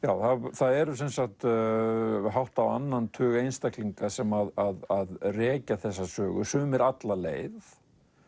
það eru sem sagt hátt á annan tug einstaklinga sem rekja þessa sögu sumir alla leið